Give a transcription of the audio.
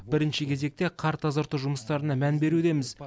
бірінші кезекте қар тазарту жұмыстарына мән берудеміз